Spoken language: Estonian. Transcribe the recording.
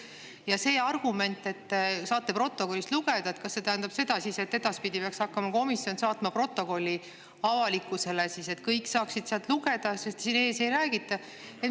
Kas see argument, et me saame seda protokollist lugeda, tähendab siis seda, et edaspidi peaks hakkama komisjon saatma protokolli avalikkusele, et kõik saaksid sealt lugeda, sest siin ees sellest ei räägita?